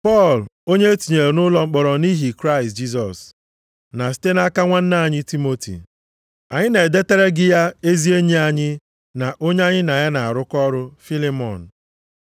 Pọl, onye e tinyere nʼụlọ mkpọrọ nʼihi Kraịst Jisọs na site nʼaka nwanna anyị Timoti, Anyị na-edetara gị ya ezi enyi anyị na onye anyị na ya na-arụkọ ọrụ, Fịlịmọn.